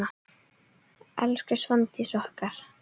Elsku Svandís okkar.